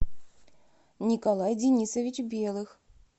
николай денисович белых